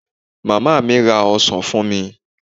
Màmá mi ra ọsán fún mi.